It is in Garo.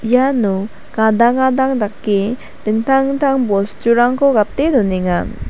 iano gadang gadang dake dingtang dingtang bosturangko gate donenga.